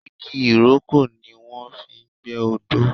igi ìrókò ni wọ́n fi ń gbẹ́ odó.